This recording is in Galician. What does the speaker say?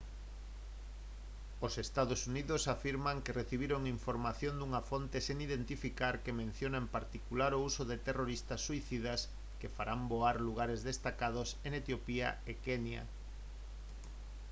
os ee. uu. afirman que recibiron información dunha fonte sen identificar que menciona en particular o uso de terroristas suicidas que farán voar «lugares destacados» en etiopía e kenya